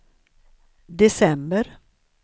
december